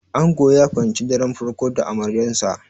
Ango ya fahimci daren farko da amaryansa.